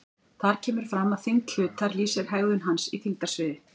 Þar kemur fram að þyngd hlutar lýsir hegðun hans í þyngdarsviði.